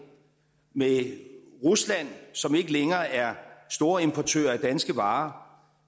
med rusland som ikke længere er storimportør af danske varer